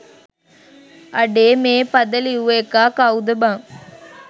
අඩේ මේ පද ලිව්ව එකා කව්ද බං